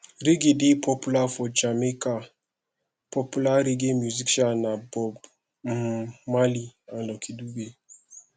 reggae dey popular for jamaica popular reggae musician na bob um marley and lucky dube